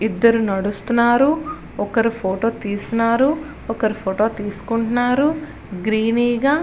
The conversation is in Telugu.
ఇద్దరూ నడుస్తుంటారు ఒకరూ ఫోటో తీస్తున్నారు ఒక్కరు ఫోటో తీసుకుంటున్నారు గ్రీనీ గ --